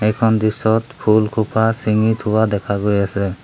এইখন দৃশ্যত ফুলসোপা চিঙি থোৱা দেখা গৈ আছে।